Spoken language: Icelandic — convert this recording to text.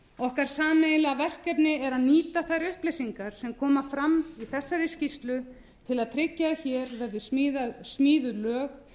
okkar sameiginlega verkefni er að nýta þær upplýsingar sem koma fram í þessari skýrslu til að tryggja að hér verði smíðuð